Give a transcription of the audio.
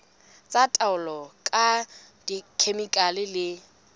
tsa taolo ka dikhemikhale le